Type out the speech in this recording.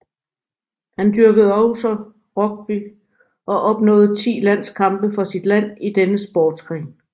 Han dyrkede også rugby og opnåede ti landskampe for sit land i denne sportsgren